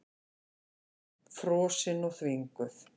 Frosin og þvinguð.